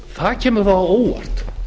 það kemur þá á óvart